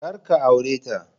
Kar ka aure ta